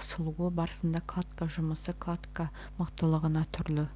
қысылуы барысында кладка жұмысы кладка мықтылығына түрлі